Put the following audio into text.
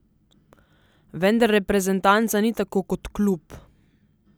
Vendar reprezentanca ni tako kot klub.